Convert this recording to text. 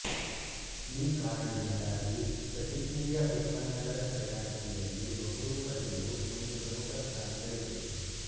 ಈ ಕಾರಣದಿಂದಾಗಿ ಸ್ಫಟಿಕೀಯ ಉತ್ಪನ್ನಗಳ ತಯಾರಿಕೆಯಲ್ಲಿ ಬಹುರೂಪತೆಯು ಒಂದು ಪ್ರಮುಖ ಸ್ಥಾನ ಗಳಿಸಿದೆ